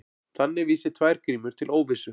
Þannig vísi tvær grímur til óvissu.